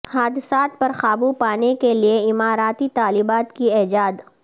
حادثات پر قابو پانے کے لیے اماراتی طالبات کی ایجاد